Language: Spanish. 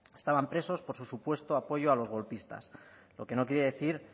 estaban presos por su supuesto apoyo a los golpistas lo que no quiere decir